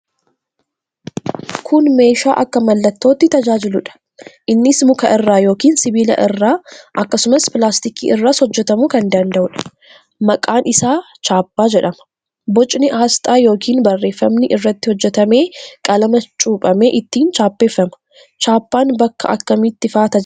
Kun meeshaa akka mallattootti tajaajiluudha. Innis muka irraa yookiin sibiila irraa, akkasumas pilaastikii irraas hojjetamuu kan danda'uudha. Maqaan isaa chaappaa jedhama. Bocni aasxaa yookiin barreeffamni irratti hojjetamee qalama cuuphamee ittiin chaappeffama. Chaappaan bakka akkamiitti faa tajaajila?